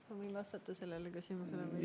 Ma võin sellele küsimusele vastata.